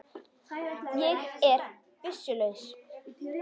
Ég er byssu laus.